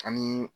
Ani